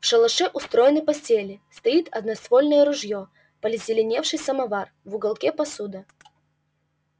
в шалаше устроены постели стоит одноствольное ружьё позеленевший самовар в уголке посуда